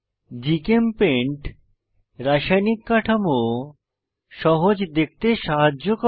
GChemPaint রাসায়নিক কাঠামো সহজ দেখতে সাহায্য করে